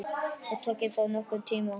Það taki þó nokkurn tíma.